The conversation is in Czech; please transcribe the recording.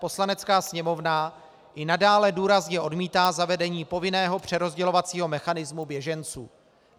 Poslanecká sněmovna i nadále důrazně odmítá zavedení povinného přerozdělovacího mechanismu běženců.